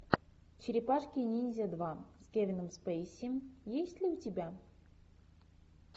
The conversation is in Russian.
черепашки ниндзя два с кевином спейси есть ли у тебя